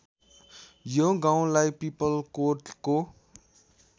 यो गाउँलाई पिपलकोटको